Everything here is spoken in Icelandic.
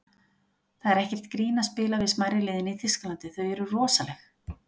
Það er ekkert grín að spila við smærri liðin í Þýskalandi, þau eru rosaleg.